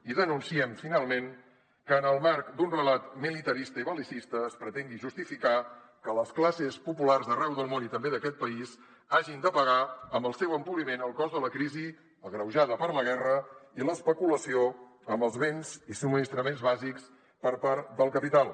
i denunciem finalment que en el marc d’un relat militarista i bel·licista es pretengui justificar que les classes populars d’arreu del món i també d’aquest país hagin de pagar amb el seu empobriment el cost de la crisi agreujada per la guerra i l’especulació amb els béns i subministraments bàsics per part del capital